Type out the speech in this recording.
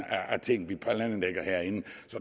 af ting vi planlægger herinde